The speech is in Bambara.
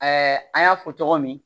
an y'a fɔ cogo min